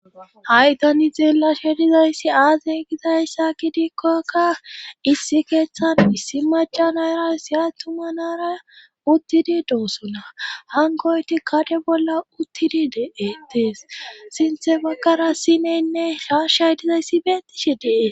ha7itani xeellasha dizayssi aazey gizayssa gidikkokka issi keeththan issi macanaera siya tumanara uttidi doosona hankoyti kade bolla uttidi de7etees sinthe baggara sineynne shashay dizayssi beettishi dee